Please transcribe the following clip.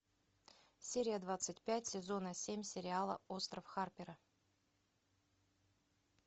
серия двадцать пять сезона семь сериала остров харпера